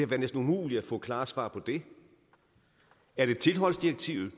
været næsten umuligt at få klare svar på det er det tilholdsdirektivet